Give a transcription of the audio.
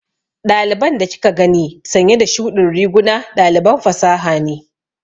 Ɗaliban da kika gani sanye da shuɗin riguna ɗaliban fasaha ne.